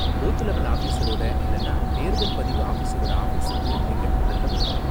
Booth level ஆஃபீஸரோட இல்லன்னா தேர்தல் பதிவு ஆஃபீஸரோட ஆஃபீஸுக்கு நீங்கள் முதல்ல போகணும்.